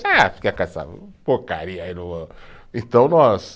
Ah, fica com essa porcaria aí no, então nós